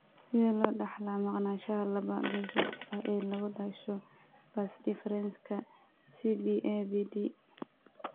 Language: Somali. Sidee loo dhaxlaa maqnaanshaha laba-geesoodka ah ee lagu dhasho vas deferenska (CBAVD)?